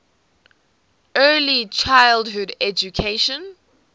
early childhood education